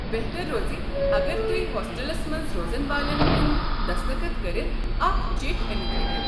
بہتھر روزِ اگر توہہِ ہوسٹلس منٛز روزن والٮ۪ن ہُٖنٛد دسخت كٔرِتھ اكھ چیٹھۍ أنِتھ ہیكِو۔